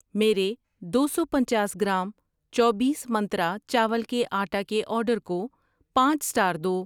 میرے دو سو پنچاس گرام چوبیس منترا چاول کا آٹا کے آرڈر کو پانچ سٹار دو۔